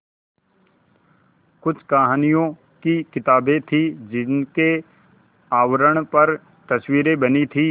कुछ कहानियों की किताबें थीं जिनके आवरण पर तस्वीरें बनी थीं